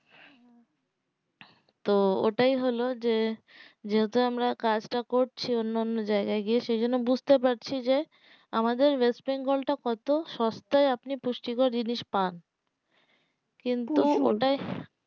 তো ওটাই হলো যে যেহেতু আমরা কাজ তা করছি অন্য অন্য জায়গায় গিয়ে সেই জন্য বুঝতে পারছি যে আমাদের ওয়েস্ট বেঙ্গল তা কত সস্তায় আপনি পুষ্টি কর জিনিস পান কিন্তু ওটাই